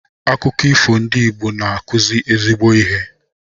Akụkọ ifo ndị Igbo na-akụzi ezigbo ihe.